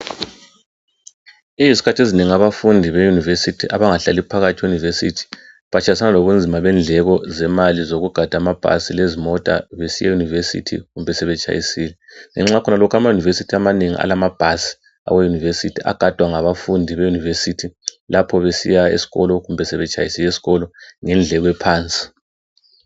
Izikhathi ezinengi abafundi beyunivesithi abangahlali phakathi eYunivesithi batshayisana lobunzima bendleko zemali zokugada amabhasi lezimota besiyeyunivesithi kumbe sebetshayisile. Ngenxa yakhonalokho amayunibesithi amanengi alamabhasi agadwa ngabafundi beyunivesithi lapho besiya esikolo kumbe sebetshayisile esikolo ngendleko ephansi.